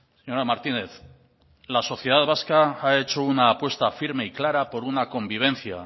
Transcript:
señora martínez la sociedad vasca ha hecho una apuesta firme y clara por una convivencia